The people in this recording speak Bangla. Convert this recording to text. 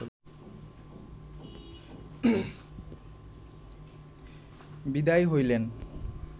বিদায় হইলেন